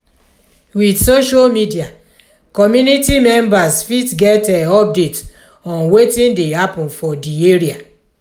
with social media community members fit get update on wetin dey happen for di area